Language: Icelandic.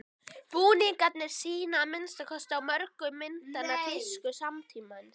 Búningarnir sýna, að minnsta kosti á mörgum myndanna, tísku samtímans.